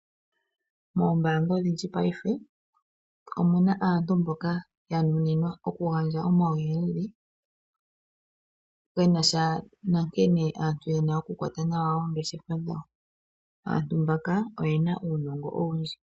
Oombaanga odhindji paife, omuna aantu yo ku gandja omauyelele, genasha nsnkene aantu yena oku kwata nawa oongeshefa dhawo. Aantu mbaka oyena uunongo oundji.